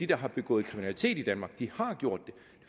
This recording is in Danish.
der har begået kriminalitet i danmark